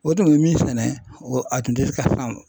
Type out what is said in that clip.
O tun be min sɛnɛ o a tun tɛ ka san